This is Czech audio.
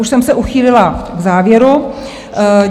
už jsem se uchýlila k závěru.